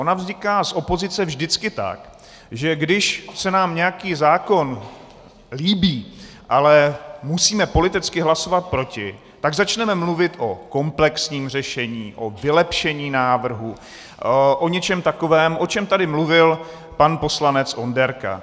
Ona vzniká z opozice vždycky tak, že když se nám nějaký zákon líbí, ale musíme politicky hlasovat proti, tak začneme mluvit o komplexním řešení, o vylepšení návrhu, o něčem takovém, o čem tady mluvil pan poslanec Onderka.